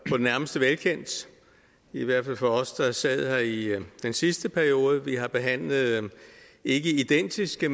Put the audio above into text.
på det nærmeste velkendt i hvert fald for os der sad her i den sidste periode vi har behandlet ikke identiske